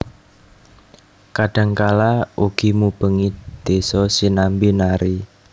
Kadang kala ugi mubengi desa sinambi nari